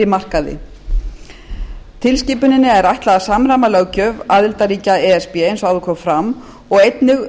markaði tilskipuninni er ætlað að samræma löggjöf aðildarríkja e s b eins og áður kom fram og einnig